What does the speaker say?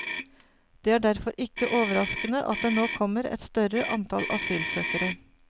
Det er derfor ikke overraskende at det nå kommer et større antall asylsøkere.